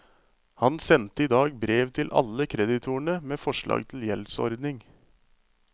Han sendte i dag brev til alle kreditorene med forslag til gjeldsordning.